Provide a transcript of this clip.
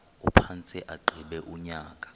aphantse agqiba unyaka